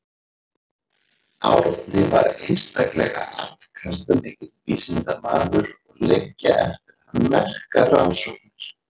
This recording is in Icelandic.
Árni var einstaklega afkastamikill vísindamaður og liggja eftir hann merkar rannsóknir.